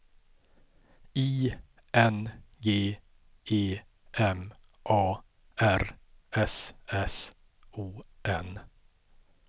I N G E M A R S S O N